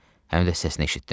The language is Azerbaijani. Həm də səsini eşitdim.